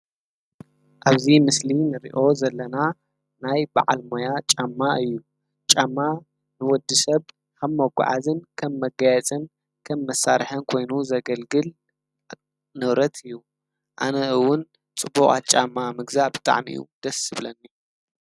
ኣብዚ ምስሊ ንርእዮ ዘለና ናይ በዓል ሞያ ጫማ እዩ፤ ጫማ ንወዲሰብ ከም መጓዓዝን ከም መጋየጽን ከም መሳርሕን ኮይኑ ዘገልግል ንብረት እዩ። ኣነ እዉን ጽቡቃት ጫማ ምግዛእ ብጣዕሚ እዩ ደስ ዝብለኒ።